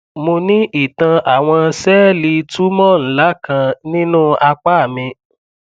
mo ní ìtàn àwọn sẹẹlì tumoor ńlá kan nínú apá mi